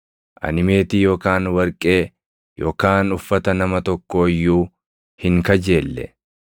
Ani meetii yookaan warqee yookaan uffata nama tokkoo iyyuu hin kajeelle.